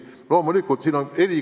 Loomulikult, inimesed on erinevad.